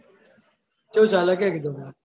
ચેવું ચાલે કે કીધું?